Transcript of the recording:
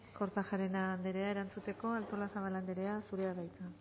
kortajarena anderea erantzuteko artolazabal anderea zurea da hitza